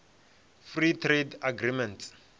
free trade agreements